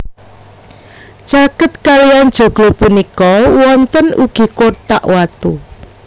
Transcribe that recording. Caket kaliyan joglo punika wonten ugi kotak watu